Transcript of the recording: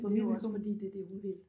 Men det vel kun fordi det er det hun vil